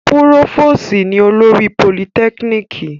Púròfòsì ni olórí Politekiniki